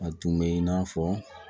A tun bɛ in n'a fɔ